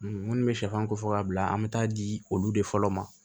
Minnu bɛ sɛfan ko fɔ k'a bila an bɛ taa di olu de fɔlɔ ma